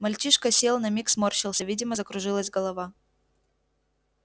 мальчишка сел на миг сморщился видимо закружилась голова